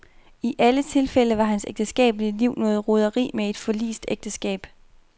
I alle tilfælde var hans ægteskabelige liv noget roderi med et forlist ægteskab.